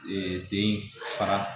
sen fara